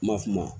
Ma fu ma